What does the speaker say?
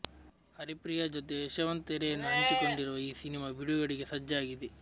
ಹರಿಪ್ರಿಯಾ ಜತೆ ಯಶವಂತ್ ತೆರೆಯನ್ನು ಹಂಚಿಕೊಂಡಿರುವ ಈ ಸಿನಿಮಾ ಬಿಡುಗಡೆಗೆ ಸಜ್ಜಾಗಿದೆ